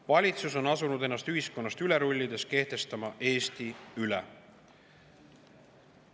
Valitsus on asunud ennast ühiskonnast üle rullides kehtestama Eesti üle.